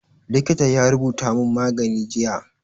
Likitan ya rubuta mun magani jiya